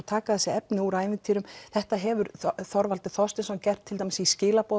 taka þetta efni úr ævintýrum þetta hefur Þorvaldur Þorsteinsson gert til dæmis í